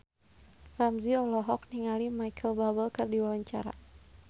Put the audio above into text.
Ramzy olohok ningali Micheal Bubble keur diwawancara